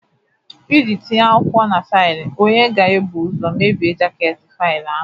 Iji tinye akwụkwọ na faịlụ, onye ga-ebu ụzọ mebie jaket faịlụ ahụ